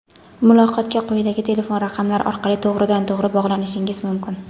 Muloqotga quyidagi telefon raqamlari orqali to‘g‘ridan-to‘g‘ri bog‘lanishingiz mumkin:.